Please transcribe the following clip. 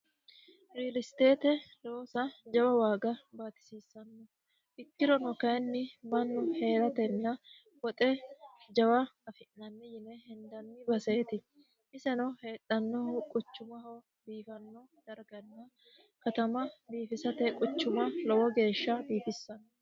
riilisteete loosa jawa waaga baatisiissanno ikkirono kayinni mannu hee'ratenna woxe jawa afi'nanni yine hindanni baseeti iseno heedhannoohu quchumaho biifanno darganna katama biifisate quchuma lowo geeshsha biifissanno